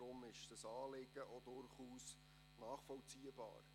Deshalb ist dieses Anliegen durchaus nachvollziehbar.